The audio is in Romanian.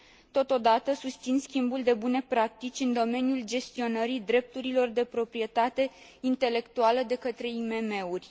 Totodată, susțin schimbul de bune practici în domeniul gestionării drepturilor de proprietate intelectuală de către IMM uri.